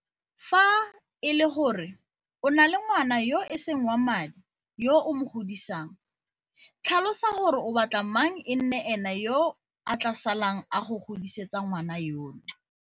Fa e le gore o na le ngwana yo e seng wa madi yo o mo godisang, tlhalosa gore o batla mang e nne ene yo a tla salang a go godisetsa ngwana yono.